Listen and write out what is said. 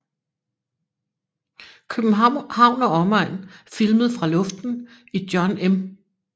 København og Omegn filmet fra Luften i John M